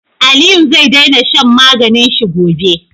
Aliyu ze dena shan maganin shi gobe